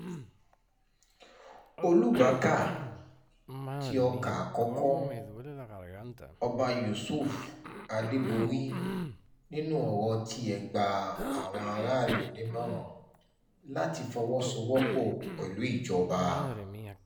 olùbákà tí ọkà àkọ́kọ́ ọba yusuf adéborí nínú ọ̀rọ̀ tiẹ̀ gba àwọn aráàlú nímọ̀ràn láti fọwọ́sowọ́pọ̀ láti fọwọ́sowọ́pọ̀ pẹ̀lú ìjọba